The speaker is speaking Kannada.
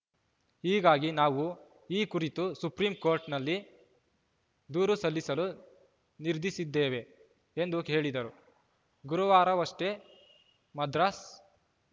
ಹೀಗಾಗಿ ನಾವು ಈ ಕುರಿತು ಸುಪ್ರೀಂಕೋರ್ಟ್‌ನಲ್ಲಿ ದೂರು ಸಲ್ಲಿಸಲು ನಿರ್ಧರಿಸಿದ್ದೇವೆ ಎಂದು ಹೇಳಿದರು ಗುರುವಾರವಷ್ಟೇ ಮದ್ರಾಸ್‌